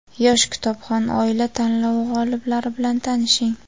"Yosh kitobxon oila" tanlovi g‘oliblari bilan tanishing:.